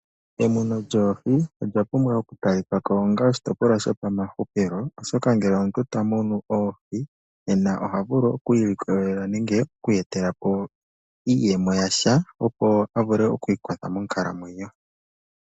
Emuno lyoohi olya pumbwa oku talika ko onga oshitopolwa shopamahupilo, oshoka ngele omuntu ta munu oohi nena oha vulu oku ilikolela nenge oku iyetela po iiyemo yasha, opo a vule oku ikwatha monkalamwenyo.